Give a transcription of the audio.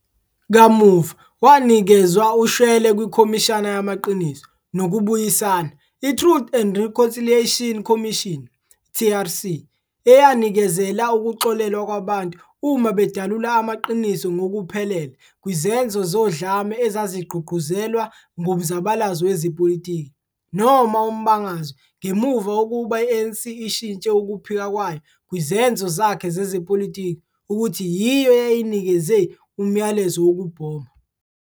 Kamuva wanikezwa ushwele kwiKhomishana Yamaqiniso nokuBuyisana iTruth and Reconciliation Commission, TRC, eyanikezela ukuxolelwa kwabantu uma bedalula amaqiniso ngokuphelele kwizenzo zodlame ezazigqugquzelwa ngumzabalazo wezepolitiki noma umbangazwe ngemuva kokuba i-ANC ishintshe ukuphika kwayo kwizenzo zakhe zezepolitiki ukuthi yiyo eyayinikeze umlayezo wokubhoma.